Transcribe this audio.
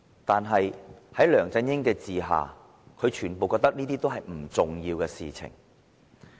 可是，在梁振英的管治下，這些全被視為不重要的事情。